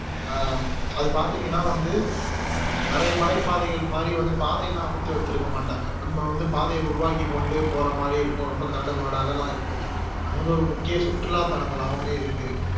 ஹம் அது பாத்திங்கன்னா வந்து அஹ் நிறைய மலைப்பாதைகள் மாதிரி பாதையெல்லாம் அமைத்து வைத்திருக்க மாட்டாங்க நம்ப வந்து பாதைய உருவாக்கிக்கொண்டு போற மாதிரி இருக்கும் ரொம்ப கரடுமுரடாகலா இருக்கும் அது வந்து ஒரு முக்கிய சுற்றுலா தலங்களாவுலே இருக்கு